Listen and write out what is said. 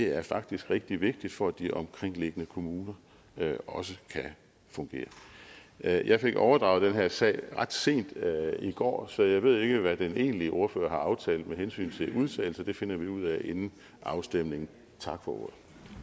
er faktisk rigtig vigtig for at de omkringliggende kommuner også kan fungere jeg jeg fik overdraget den her sag ret sent i går så jeg ved ikke hvad den egentlige ordfører har aftalt med hensyn til vedtagelse det finder vi ud af inden afstemningen tak for ordet